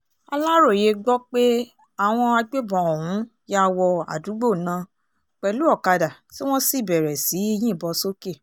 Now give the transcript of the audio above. aláròye gbọ́ pé àwọn agbébọn ọ̀hún ya wọ àdúgbò ná pẹ̀lú ọ̀kadà tí wọ́n sì bẹ̀rẹ̀ sí í yìnbọn sókè